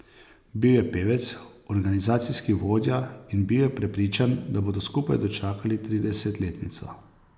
Bil je pevec, organizacijski vodja in bil je prepričan, da bodo skupaj dočakali tridesetletnico.